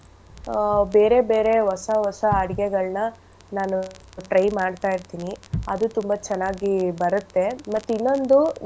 ಆ ಬೇರೆ ಬೇರೆ ಹೊಸ ಹೊಸ ಅಡ್ಗೆಗಳ್ನ ನಾನು try ಮಾಡ್ತಾ ಇರ್ತೀನಿ. ಅದು ತುಂಬಾ ಚೆನ್ನಾಗಿ ಬರತ್ತೆ. ಮತ್ತೆ ಇನ್ನೊಂದು.